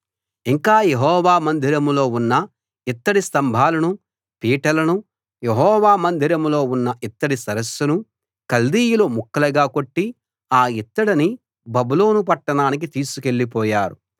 ఇంకా యెహోవా మందిరంలో ఉన్న ఇత్తడి స్తంభాలను పీటలను యెహోవా మందిరంలో ఉన్న ఇత్తడి సరస్సును కల్దీయులు ముక్కలుగా కొట్టి ఆ ఇత్తడిని బబులోను పట్టణానికి తీసుకెళ్ళిపోయారు